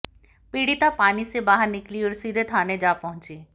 पीड़िता पानी से बाहर निकली और सीधे थाने जा पहुंची